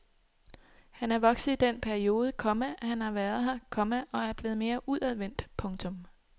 Han er vokset i den periode, komma han har været her, komma og er blevet mere udadvendt. punktum